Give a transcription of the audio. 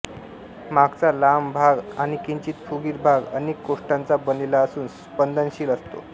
मागचा लांब भाग आणि किंचित फुगीर भाग अनेक कोष्ठांचा बनलेला असून स्पंदनशील असतो